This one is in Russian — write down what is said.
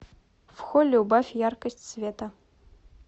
в холле убавь яркость света